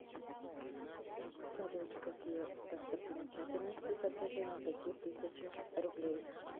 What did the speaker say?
салют какие достопримечательности изображены на пяти тысячах рублей